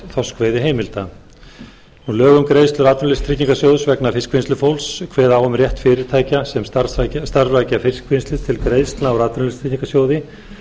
þorskveiðiheimilda lög um greiðslur atvinnuleysistryggingasjóðs vegna fiskvinnslufólks kveða á um rétt fyrirtækja sem starfrækja fiskvinnslu til greiðslna úr atvinnuleysistryggingasjóði